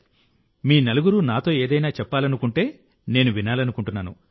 మీ నలుగురూ నాతో ఏదైనా చెప్పాలనుకుంటే నేను వినాలనుకుంటున్నాను